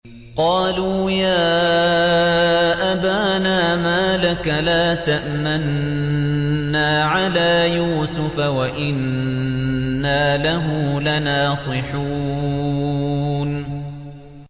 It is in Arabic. قَالُوا يَا أَبَانَا مَا لَكَ لَا تَأْمَنَّا عَلَىٰ يُوسُفَ وَإِنَّا لَهُ لَنَاصِحُونَ